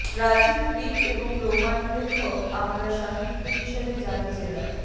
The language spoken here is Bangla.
প্রাচীন গ্রিক এবং রোমান লেখক আমরা সাহিত্য হিসাবে জানি জেনার